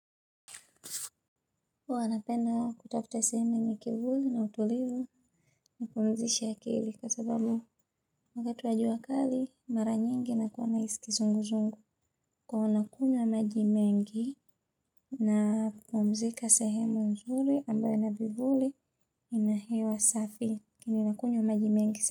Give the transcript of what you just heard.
Huwa napenda kutafuta sehemu yenye kivuli na utulivu ni pumzishe akili kwa sababu wakati wa jua kali mara nyingi na kuwa na hisi kizunguzungu. Kwa hio nakunywa majimengi. Na pumzika sehemu nzuri ambayo inavivuli ina hewa safi nina kunywa majimengi.